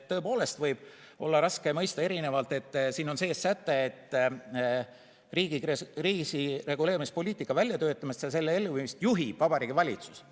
Tõepoolest võib olla raske mõista, sest siin on sees säte, et riigi kriisireguleerimispoliitika väljatöötamist ja selle elluviimist juhib Vabariigi Valitsus.